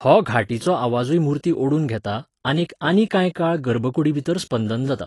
हो घांटीचो आवाजूय मुर्तीं ओडून घेता आनीक आनी कांय काळ गर्भकुडीभितर स्पंदन जाता.